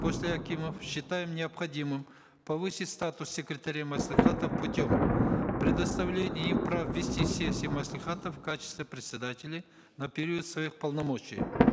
после акимов считаем необходимым повысить статус секретарей маслихата путем предоставления им прав вести сессии маслихатов в качестве председателей на период своих полномочий